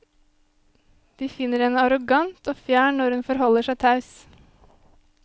De finner henne arrogant og fjern når hun forholder seg taus.